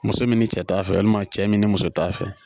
Muso min ni cɛ t'a fɛ walima cɛ min ni muso t'a fɛ